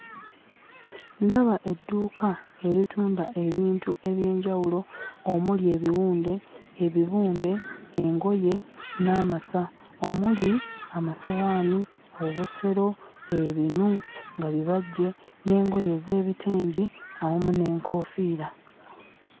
Ndaba edduuka eritunda ebintu ebyenjawulo omuli ebiwunde, ebibumbe, engoye, n'amasa omuli amasowaani, obusero, ebinu nga bibajje, n'engoye ez'ebitengi awamu n'enkoofiira.